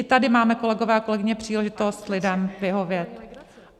I tady máme, kolegové a kolegyně, příležitost lidem vyhovět.